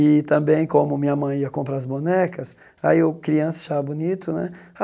E também, como minha mãe ia comprar as bonecas, aí eu criança achava bonito, né?